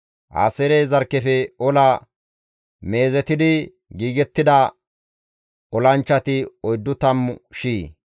Aaseere zarkkefe ola meezetidi giigettida olanchchati oyddu tammu shiya.